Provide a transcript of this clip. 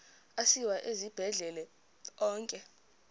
asiwa esibhedlele onke